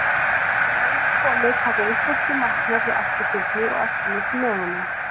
Þegar heim er komið taka íslenskir læknar við eftirfylgni og eftirliti með honum.